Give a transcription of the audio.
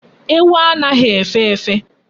Ewu anaghi efe efe